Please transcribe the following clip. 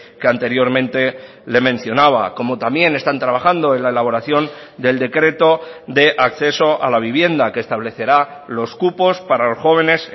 que anteriormente le mencionaba como también están trabajando en la elaboración del decreto de acceso a la vivienda que establecerá los cupos para los jóvenes